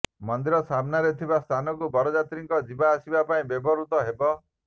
ମନ୍ଦିର ସାମ୍ନାରେ ଥିବା ସ୍ଥାନକୁ ଯାତ୍ରୀମାନଙ୍କ ଯିବା ଆସିବା ପାଇଁ ବ୍ୟବହୃତ ହେବ